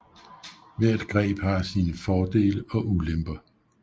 Hvert greb har sine fordele og ulemper